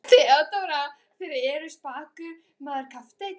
THEODÓRA: Þér eruð spakur maður, kafteinn.